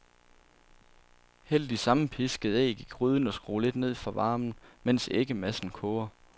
Hæld de sammenpiskede æg i gryden og skru lidt ned for varmen, mens æggemassen koger.